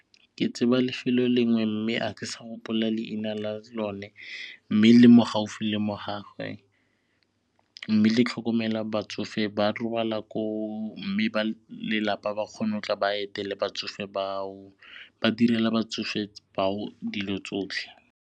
Ke tseba lefelo lengwe mme a ke sa gopola leina la lone mme le mo gaufi le mo mme le tlhokomela batsofe ba robala koo mme ba lelapa ba kgona go tla ba etele batsofe bao, ba direla batsofe bao dilo tsotlhe.